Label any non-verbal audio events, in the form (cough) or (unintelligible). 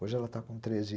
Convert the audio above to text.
Hoje ela está com treze (unintelligible)